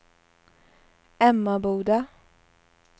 Emmaboda